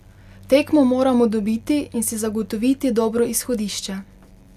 Tekmo moramo dobiti in si zagotoviti dobro izhodišče.